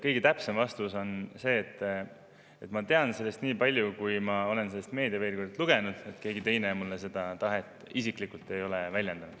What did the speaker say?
Kõige täpsem vastus on see: ma tean sellest nii palju, kui ma olen meediaveergudelt lugenud, keegi teine mulle seda tahet isiklikult ei ole väljendanud.